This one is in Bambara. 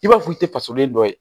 I b'a fɔ i tɛ fasolen dɔ ye